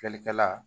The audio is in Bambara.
Filɛlikɛla